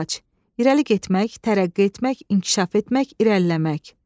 İrəli getmək, tərəqqi etmək, inkişaf etmək, irəliləmək.